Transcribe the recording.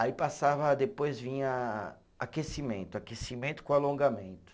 Aí passava, depois vinha aquecimento, aquecimento com alongamento.